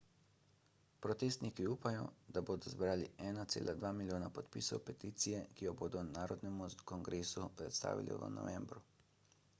protestniki upajo da bodo zbrali 1,2 milijona podpisov peticije ki jo bodo narodnemu kongresu predstavili v novembru